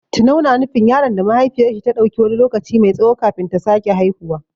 Tunau na nufin yaron da mahaifiyar shi ta ɗauki wani lokaci mai tsawo kafin ta sake haihuwa.